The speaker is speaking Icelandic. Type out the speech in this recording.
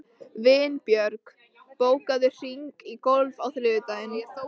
Vinbjörg, bókaðu hring í golf á þriðjudaginn.